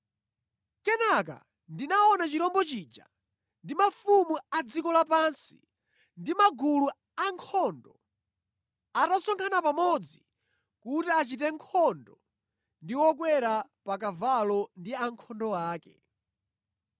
Kenaka ndinaona chirombo chija ndi mafumu a dziko lapansi ndi magulu ankhondo atasonkhana pamodzi kuti achite nkhondo ndi wokwera pa kavalo ndi ankhondo ake.